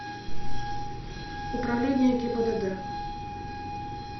управление гибдд